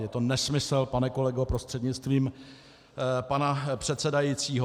Je to nesmysl, pane kolego prostřednictvím pana předsedajícího.